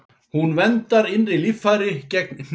Hún verndar innri líffæri gegn hnjaski.